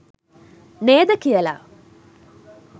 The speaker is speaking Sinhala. නේද කියලා.